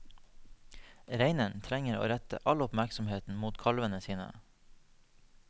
Reinen trenger å rette all oppmerksomheten mot kalvene sine.